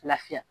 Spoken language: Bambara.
Lafiya